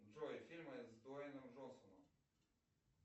джой фильмы с дуэйном джонсоном